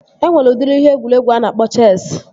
Enwere udiri ihe egwuregwu a na-akpọ Chesi